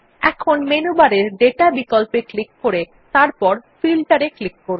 এখন মেনু বারের দাতা বিকল্পে ক্লিক করে তারপরে ফিল্টার এ ক্লিক করুন